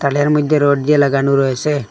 এর মইদ্যে রড দিয়ে লাগানো রয়েছে।